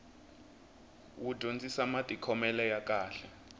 wu dyondzisa matikhomele ya kahle